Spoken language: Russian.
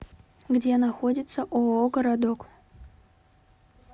где находится ооо городок